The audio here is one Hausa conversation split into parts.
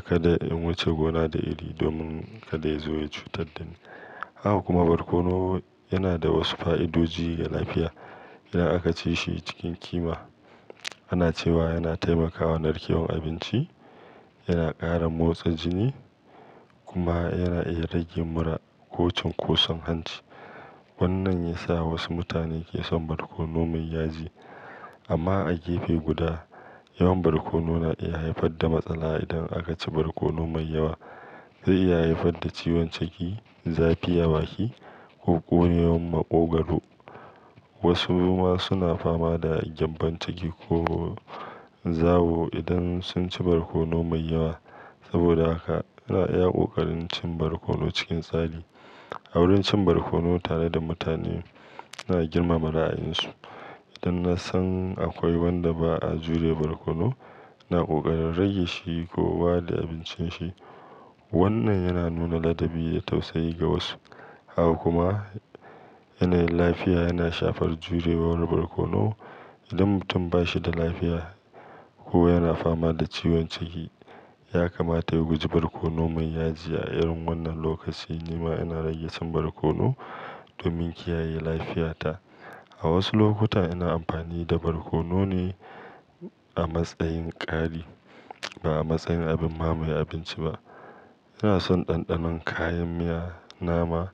kada in wuce gona da iri domin kada ya zo ya cutar dani. Haka kuma barkono yana da wasu fa'idoji ga lafiya idan aka ci shi cikin kima. Ana cewa yana taimakawa narkewar abinci, yana ƙara motsa jini kuma yana iya rage mura ko cin kosan hanci. Wannan ya sa wasu mutane ke son barkono mai yaji. Amma a gefe guda, yawan barkono na iya haifar da matsala. Idan aka ci barkono mai yawa zai iya haifar da ciwon ciki, zafi, a baki ko ƙonewan maƙogwaru. Wasu ma suna fama da gyambon ciki ko zawo idan sun ci barkono mai yawa. Saboda haka ina iya ƙoƙarin cin barkono cikin tsari. A wurin cin barkono tare da mutane, ina girmama ra'ayinsu. Idan na san akwai wanda ba a jure barkono, ina ƙoƙarin rage shi ko walde abincin shi. Wannan yana nuna ladabi da tausayi ga wasu. Haka kuma yanayin lafiya yana shafar jurewa wani barkono. Idan mutum ba shi da lafiya ko yana fama da ciwon ciki, ya kamata ya guji barkono mai yaji. A irin wannan lokaci, ni ma ina rage cin barkono domin kiyaye lafiyata. A wasu lokuta ina amfani da barkono ne a matsayin ƙari ba a matsayin abin ma mai abinci ba. Ina son ɗanɗanon kayan miya nama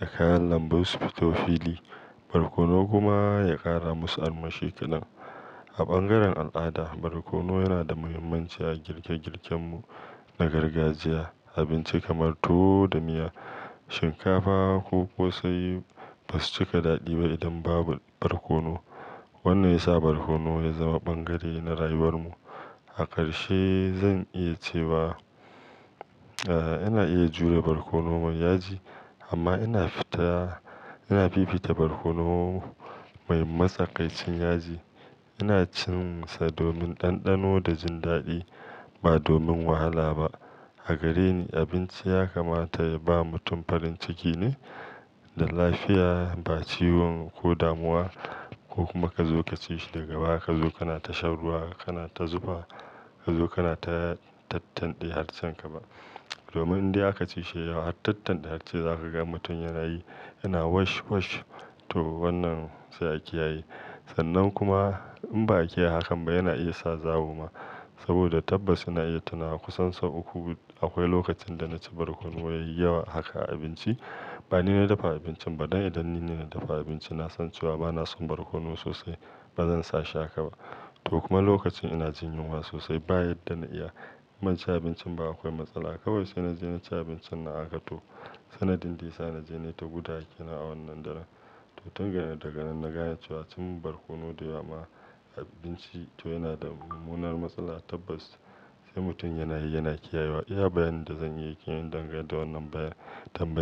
da kayan lambu su fito fili, barkono kuma ya ƙara musu armashi kadan. A bangaren al'ada, barkono yana da muhimmanci a girke girken mu na gargajiya. Abinci kamar tuwo da miya, shinkafa ko ƙosai ba su cika daɗi ba idan babu barkono. Wannan ya sa barkono ya zama bangare na rayuwar mu. A ƙarshe, zan iya cewa, eh, ina iya jure barkono mai yaji amma ina fita-- ina fifita barkono mai matsakaicin yaji. Ina cin sa domin ɗanɗano da jin daɗi ba domin wahala ba. A gare ni, abinci ya kamata ya ba mutum farin ciki ne da lafiya ba ciwo ko damuwa ko kuma ka zo ka ci shi daga baya ka zo kana tashar ruwa, kana ta zufa, ka zo kana ta tattande har can ka ba. Domin dai aka ci shi yawa har tattande har sai zaka ga mutum yana yi, yana "wash wash". To wannan sai a kiyaye. Sannan kuma in ba a iya hakan ba, yana iya sa zawo ma. Saboda tabbas ina iya tunawa kusan sau uku akwai lokacin da na ci barkono yayi yawa haka a abinci. Ba ni na dafa abincin ba dan idan nine na dafa abinci, na san cewa bana son barkono sosai. Ba zan sa shi haka ba. To kuma lokacin ina jin yunwa sosai, ba yadda na iya in banci abincin ba akwai matsala. Kawai sai na je na ci abincin na haka to. Sanadin dai sa na je na yi ta gudawa kenan a wannan darar. To tun daga nan, daga nan na gane cewa cin barkono da yawa a abinci to yana da munanan matsala. Tabbas sai mutum yana yi, yana kiyayewa. Iya bayanin da zan iya yi ke yin dangantakar wannan bayar-- tambayar.